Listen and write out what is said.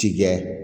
Tikɛ